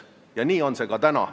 Ja nii on see ka praegu.